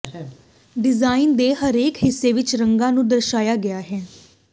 design ਦੇ ਹਰੇਕ ਹਿੱਸੇ ਵਿਚ ਰੰਗਾਂ ਨੂੰ ਦਰਸਾਇਆ ਗਿਆ ਹੈ